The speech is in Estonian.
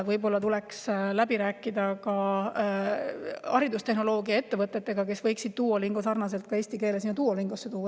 Võib-olla tuleks läbi rääkida ka haridustehnoloogia ettevõtetega, kes võiksid eesti keele Duolingosse tuua.